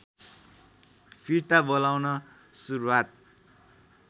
फिर्ता बोलाउन सुरुवात